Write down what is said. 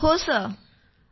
हो सर